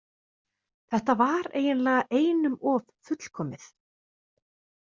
Þetta var eiginlega einum of fullkomið.